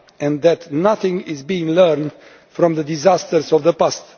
and that nothing is being learned from the disasters of the past.